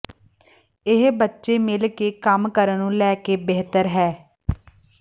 ਇਹ ਬੱਚੇ ਮਿਲ ਕੇ ਕੰਮ ਕਰਨ ਨੂੰ ਲੈ ਕੇ ਬਿਹਤਰ ਹੈ